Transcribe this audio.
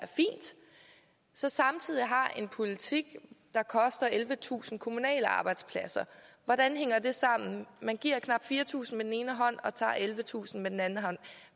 så samtidig har en politik der koster ellevetusind kommunale arbejdspladser hvordan hænger det sammen man giver knap fire tusind med den ene hånd og tager ellevetusind med den anden hånd